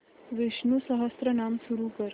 विष्णु सहस्त्रनाम सुरू कर